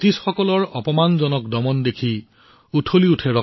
ব্ৰিটিছসকলৰ অন্যায় আৰু স্বৈৰাচাৰী দমন প্ৰৱণতাবোৰ লক্ষ্য কৰি